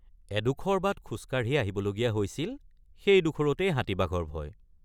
এডোখৰ বাট খোজকাঢ়ি আহিবলগীয়া হৈছিল সেই ডোখৰতেই হাতীবাঘৰ ভয়।